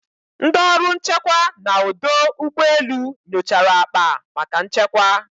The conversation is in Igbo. Ndị ọrụ nchekwa na odo ugbo elu nyochara akpa maka nchekwa.